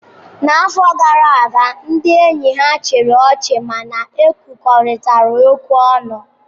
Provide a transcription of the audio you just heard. N'afọ gara aga, ndị enyi ha chịrị ọchị ma na egwukọrita egwu ọnụ.